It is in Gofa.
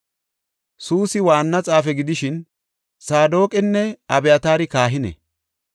Suusi waanna xaafe gidishin, Saadoqinne Abyataari kahine.